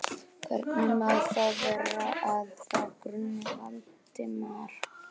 Hvernig má þá vera, að þá gruni Valdimar?